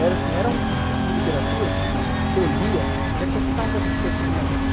Era assim, era um tipo de literatura que eu lia, que acrescentava bastante coisa para minha vida.